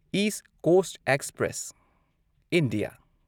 east Coast Express India